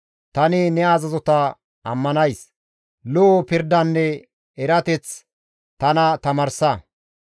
Tani ne azazota ammanays; lo7o pirdanne erateth tana tamaarsa.